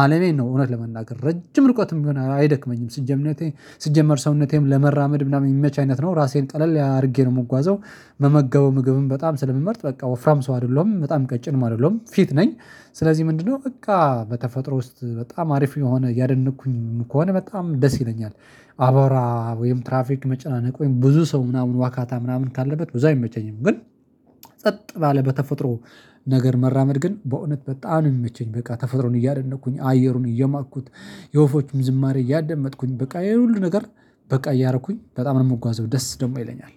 አለሜን ነው። እውነት ለመናገር ረጅም ርቆትም ቢሆን አይደክመኝም ስጀምነቴ ስጀመር ሰውነቴም ለመራመድ ምናምን የሚመች አይነት ነው ራሴን ቀለል አድርጌ ነው የምጓዘው። መመገቡ ምግብን በጣም ስለምመርጥ በቃ ወፍራም ሰው አይደለሁም በጣም ቀጭንም አይደለሁም ፊት ነኝ። ስለዚህ ምንድነው በቃ በተፈጥሮ ውስጥ በጣም አሪፍ የሆነ እያደነቅኩኝም ከሆነ በጣም ደስ ይለኛል። አባራ ወይም ትራፊክ መጨናነቅ ወይም ብዙ ሰው ምናምን ዋካታ ምናምን ካለበት ብዙ አይመቸኝም። ግን ጸጥ ባለ በተፈጥሮ ነገር መራመድ ግን በእውነት በጣም የሚመቸኝ በቃ ተፈጥሮን እያደነቅኩኝ አየሩን እየማኩት የወፎችም ዝማሬ እያደመጥኩኝ በቃ ይሄ ይሄን ሁሉ ነገር በቃ እያረኩኝ በጣም ነው የምጓዘው ደስ ደግሞ ይለኛል።